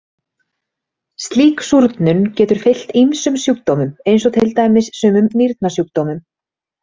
Slík súrnun getur fylgt ýmsum sjúkdómum eins og til dæmis sumum nýrnasjúkdómum.